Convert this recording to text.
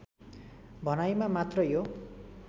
भनाईमा मात्र यो